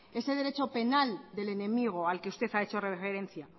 ese derecho penal del enemigo al que usted ha hecho referencia